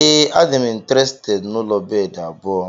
Ee, adịm intirested n'ụlọ bedi abụọ.